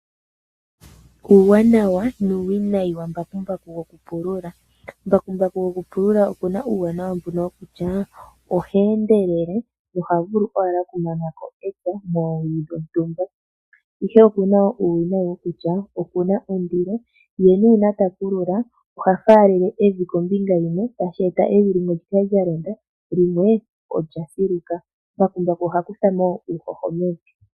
Uuwanawa nuuwinayi wambakumbaku gokupulula Mbakumbaku gokupulula oku na uuwanawa, oshoka oha endelele noha vulu owala okumana ko epya moowili dhontumba, ihe oku na uuwinayi, oshoka oku na ondilo, ye uuna ta pulula oha faalele evi kombinga yimwe tashi eta evi li kale lya londa limwe olya siluka. Mbakumbaku oha kutha mo wo uuhoho mevi.